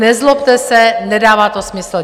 Nezlobte se, nedává to smysl.